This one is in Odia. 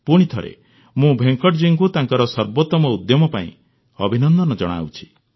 ପୁଣିଥରେ ମୁଁ ଭେଙ୍କଟଜୀଙ୍କୁ ତାଙ୍କର ସର୍ବୋତମ ଉଦ୍ୟମ ପାଇଁ ଅଭିନନ୍ଦନ ଜଣାଉଛି